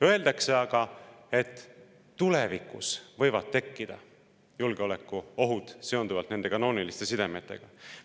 Öeldakse aga, et tulevikus võivad tekkida julgeolekuohud seonduvalt nende kanooniliste sidemetega.